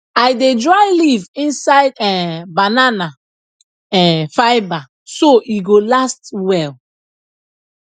i dey dry leaf inside um banana um fibre so e go last well